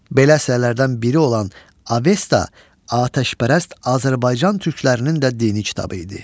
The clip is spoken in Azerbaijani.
Belə əsərlərdən biri olan Avesta atəşpərəst Azərbaycan türklərinin də dini kitabı idi.